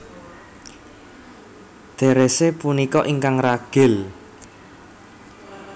Therese punika ingkang ragil